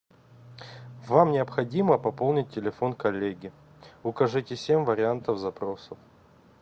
вам необходимо пополнить телефон коллеги укажите семь вариантов запроса